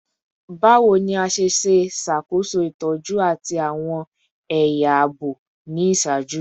Bawo ni a ṣe ṣakoso itọju ati awọn ẹya aabo ni iṣaaju?